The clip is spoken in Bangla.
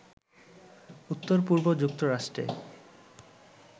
উত্তর-পূর্ব যুক্তরাষ্ট্রে